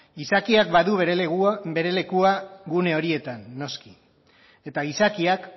gizakiak badu bere lekua gune horietan noski eta gizakiak